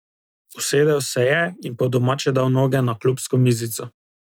Usedel se je in po domače dal noge na klubsko mizico.